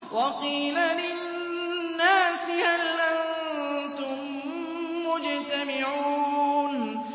وَقِيلَ لِلنَّاسِ هَلْ أَنتُم مُّجْتَمِعُونَ